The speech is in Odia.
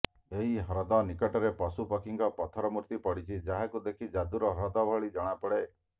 ଏହି ହ୍ରଦ ନିକଟରେ ପଶୁ ପକ୍ଷୀଙ୍କ ପଥର ମୂର୍ତ୍ତି ପଡିଛି ଯାହାକୁ ଦେଖି ଯାଦୁର ହ୍ରଦ ଭଳି ଜଣାପଡେ